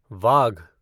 वाघ